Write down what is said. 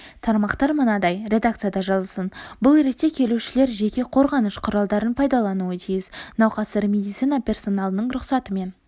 тармақтар мынадай редакцияда жазылсын бұл ретте келушілер жеке қорғаныш құралдарын пайдалануы тиіс науқастар медицина персоналының рұқсатымен